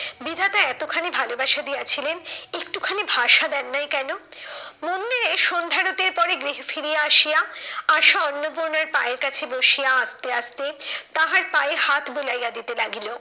বিধাতা এতখানি ভালোবাসা দিয়াছিলেন একটুখানি ভাষা দেন নাই কেন? মন্দিরে সন্ধ্যা আরতির পরে গৃহে ফিরিয়া আসিয়া, আশা অন্নপূর্ণার পায়ের কাছে বসিয়া আস্তে আস্তে তাহার পায়ে হাত বুলাইয়া দিতে লাগিল।